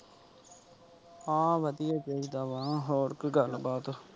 ਹਾਂ ਵਧੀਆ ਚਾਹੀਦਾ ਵਾ ਹੋਰ ਕੋਈ ਗੱਲਬਾਤ।